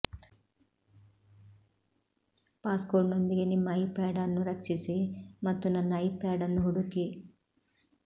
ಪಾಸ್ಕೋಡ್ನೊಂದಿಗೆ ನಿಮ್ಮ ಐಪ್ಯಾಡ್ ಅನ್ನು ರಕ್ಷಿಸಿ ಮತ್ತು ನನ್ನ ಐಪ್ಯಾಡ್ ಅನ್ನು ಹುಡುಕಿ